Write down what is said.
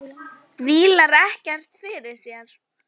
Vílar ekkert fyrir sér.